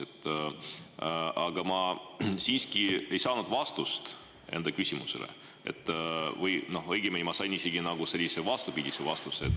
Aga ma siiski ei saanud vastust enda küsimusele või õigemini ma sain isegi nagu sellise vastupidise vastuse.